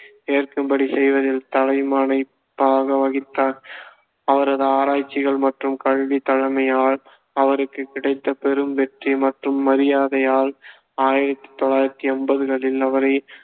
ஏற்கும்படி செய்வதில் தலைமைப்பங்கு வகித்தார் அவரது ஆராய்ச்சி மற்றும் கல்வி தலைமையால் அவருக்குக் கிடைத்த பெரும் வெற்றி மற்றும் மரியாதையால் ஆயிரத்தி தொள்ளாயிரத்தி என்பதுகளில், அவரை